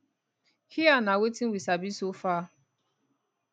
hia na wetin we sabi so far